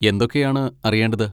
എന്തൊക്കെയാണ് അറിയേണ്ടത്?